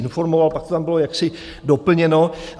informoval, pak to tam bylo jaksi doplněno.